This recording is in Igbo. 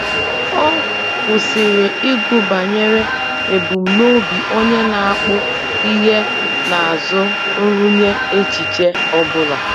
Ọ kwụsịrị ịgụ banyere ebumnobi onye na-akpụ ihe n'azụ nrụnye echiche ọ bụla.